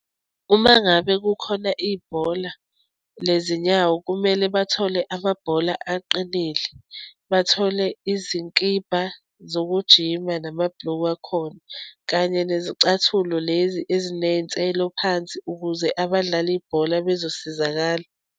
Uma ngabe kukhona ibhola lezinyawo kumele bathole amabhola aqinile, bathole izikibha zokujima namabhulukwe akhona kanye nezicathulo lezi eziney'nselo phansi ukuze abadlala ibhola bezosizakala.